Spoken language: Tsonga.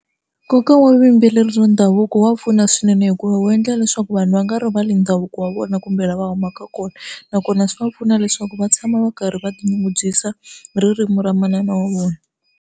Nkoka wa vuyimbeleri ndhavuko wa pfuna swinene hikuva wu endla leswaku vanhu va nga rivali ndhavuko wa vona kumbe lava humaka kona nakona swi va pfuna leswaku va tshama va karhi va tinyungubyisa hi ririmi ra manana wa vona.